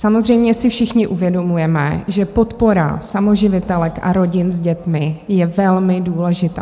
Samozřejmě si všichni uvědomujeme, že podpora samoživitelek a rodin s dětmi je velmi důležitá.